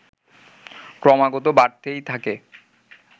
ক্রমাগত বাড়তেই থাকে